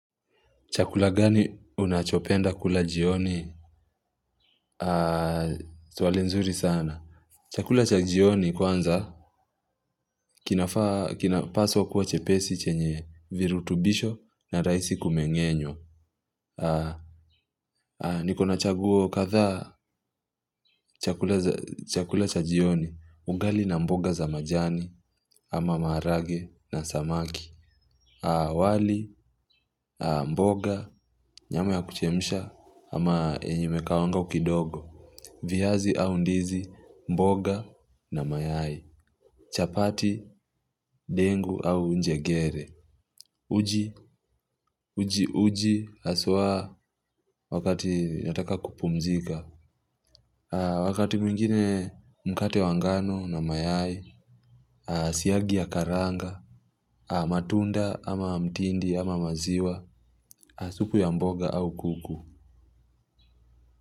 Chakula gani unachopenda kula jioni swali nzuri sana. Chakula cha jioni kwanza kinafaa kinapaswa kuwa chepesi chenye virutubisho na rahisi kumeng'enywa. Nikona chaguo kadhaa. Chakula cha jioni ugali na mboga za majani ama maharage na samaki. Wali, mboga, nyama ya kuchemsha ama yenye imekaangwa kidogo. Viazi au ndizi, mboga na mayai, chapati, dengu au njegere, uji uji uji haswa wakati nataka kupumzika, wakati mwingine mkate wa ngano na mayai, siyagi ya karanga, matunda ama mtindi ama maziwa, supu ya mboga au kuku.